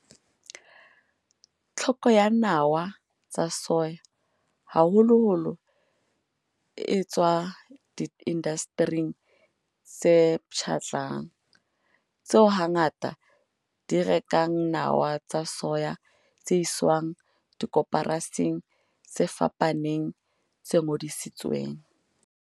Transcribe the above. Tlhoko ya nawa tsa soya haholoholo e tswa diindastering tse pshatlang, tseo hangata di rekang nawa tsa soya tse iswang dikoporasing tse fapaneng tse ngodisitsweng.